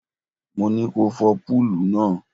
Mo ní ko fọ púùlù náà.